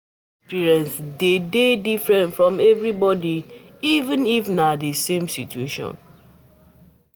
Life experience de dey different for everybody, even if na the same situation